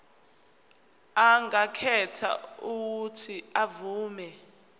angakhetha uuthi avume